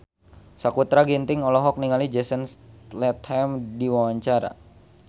Sakutra Ginting olohok ningali Jason Statham keur diwawancara